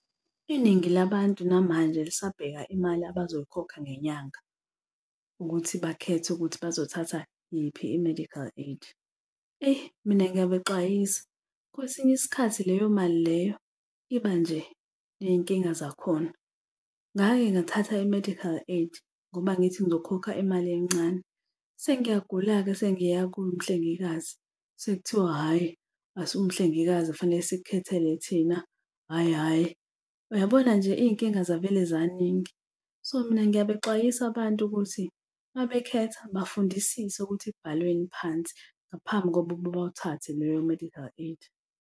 Iningi labantu namanje lisabheka imali abazoyikhokha ngenyanga ukuthi bakhethe ukuthi bazothatha yiphi i-medical aid. Eyi, mina ngiyabexwayisa, kwesinye isikhathi leyo mali leyo iba nje ney'nkinga zakhona. Ngake ngathatha i-medical aid ngoba ngithi ngizokhokha imali encane. Sengiyagula-ke sengiya kumhlengikazi, sekuthiwa hhayi, asiwumhlengikazi fanele sikukhethele thina, hhayi, hhayi. Uyabona nje iy'nkinga zavele zaningi. So mina ngiyabexwayisa abantu ukuthi uma bekhetha bafundisise ukuthi kubhalweni phansi ngaphambi bawuthathe leyo medical aid.